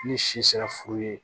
Ni si sera furu ye